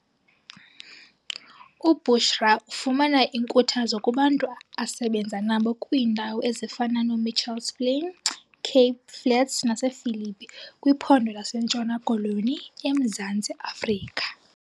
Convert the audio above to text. UBushra ufumana inkuthazo kubantu asebenza nabo kwiindawo ezifana noMitchells Plain, Cape Flats nasePhilippi kwiphondo laseNtshona Koloni eMzantsi Afrika.